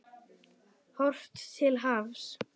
Horft til hafs.